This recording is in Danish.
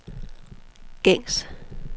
gængs